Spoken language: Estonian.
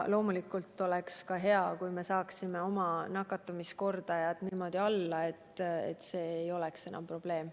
Loomulikult oleks hea, kui me saaksime oma nakatumiskordaja nii alla, et liikumine ei oleks enam probleem.